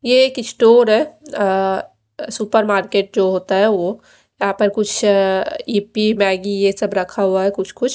ये एक स्टोर है अ सुपरमार्केट जो होता है वो यहां पर कुछ ए_पी मैगी ये सब रखा हुआ है कुछ कुछ--